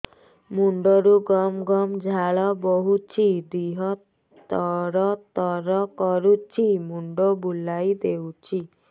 ମୁଣ୍ଡରୁ ଗମ ଗମ ଝାଳ ବହୁଛି ଦିହ ତର ତର କରୁଛି ମୁଣ୍ଡ ବୁଲାଇ ଦେଉଛି